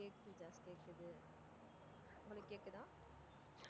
உங்களுக்கு கேக்குதா?